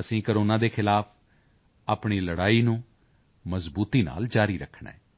ਅਸੀਂ ਕੋਰੋਨਾ ਦੇ ਖ਼ਿਲਾਫ਼ ਆਪਣੀ ਲੜਾਈ ਨੂੰ ਮਜ਼ਬੂਤੀ ਨਾਲ ਜਾਰੀ ਰੱਖਣਾ ਹੈ